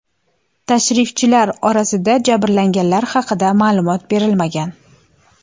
Tashrifchilar orasida jabrlanganlar haqida ma’lumot berilmagan.